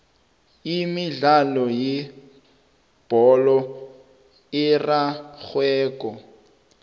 imidlalo yebholo erarhwako